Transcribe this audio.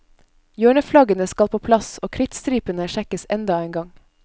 Hjørneflaggene skal på plass, og krittstripene sjekkes enda en gang.